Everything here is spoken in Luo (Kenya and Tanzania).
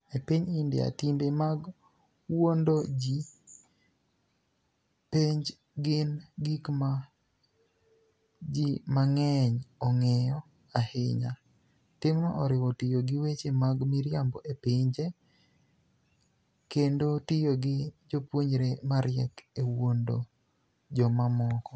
E piniy Inidia, timbe mag wuonido ji e penij gini gik ma ji manig'eniy onig'eyo ahiniya. Timno oriwo tiyo gi weche mag miriambo e penij, kenido tiyo gi jopuonijre mariek e wuonido joma moko.